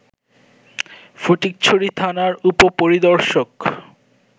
ফটিকছড়ি থানার উপ-পরিদর্শক